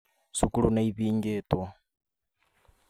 Cukuru nĩ ihingĩtwo